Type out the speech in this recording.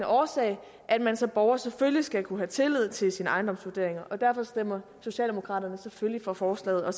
årsag at man som borger selvfølgelig skal kunne have tillid til sine ejendomsvurderinger derfor stemmer socialdemokraterne selvfølgelig for forslaget og